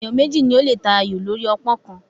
Ènìyàn méjì ni ó lè ta ayò lórí ọpọ́n kan